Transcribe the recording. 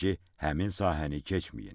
Bildirir ki, həmin sahəni keçməyin.